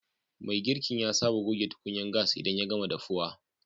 Mai girkin ya saba gogen tukunyan gas idan ya gama dafuwa.